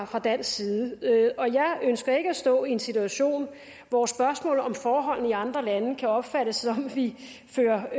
fra dansk side jeg ønsker ikke at stå i en situation hvor spørgsmålet om forholdene i andre lande kan opfattes sådan at vi fører